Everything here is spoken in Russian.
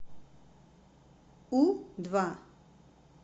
у два